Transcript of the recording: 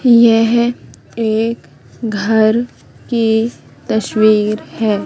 यह एक घर की तस्वीर है।